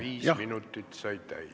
Viis minutit sai täis.